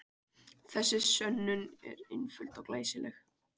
Þessi sönnun er einföld og glæsileg.